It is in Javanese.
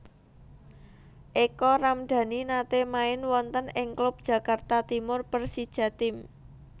Eka Ramdani nate main wonten ing klub Jakarta Timur Persijatim